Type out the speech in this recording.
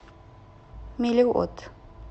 мелиот